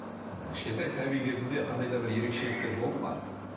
кішкентай сәби кезінде қандай да бір ерекшеліктер болды ма